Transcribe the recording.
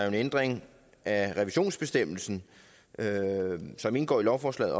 en ændring af revisionsbestemmelsen som indgår i lovforslaget